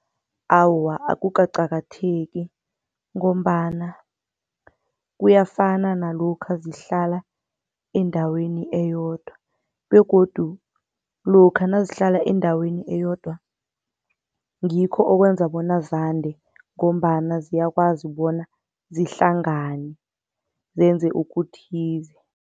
Awa, akukaqakatheki ngombana kuyafana nalokha zihlala endaweni eyodwa begodu lokha nazihlala endaweni eyodwa, ngikho okwenza bona zande ngombana ziyakwazi bona zihlangane zenze okuthize.